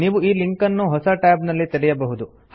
ನೀವು ಈ ಲಿಂಕ್ ಅನ್ನು ಹೊಸ ಟ್ಯಾಬ್ ನಲ್ಲಿ ತೆರೆಯಬಹುದು